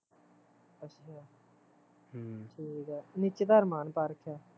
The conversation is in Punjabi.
ਹਮ ਠੀਕ ਆ ਨੀਚੇ ਤਾਂ ਅਰਮਾਨ ਪਾ ਰੱਖਿਆ